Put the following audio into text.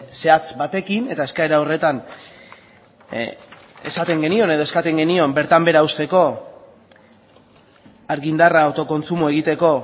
zehatz batekin eta eskaera horretan esaten genion edo eskatzen genion bertan behera uzteko argindarra autokontsumoa egiteko